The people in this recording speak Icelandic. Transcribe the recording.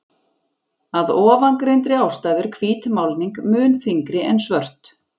Af ofangreindri ástæðu er hvít málning mun þyngri en svört.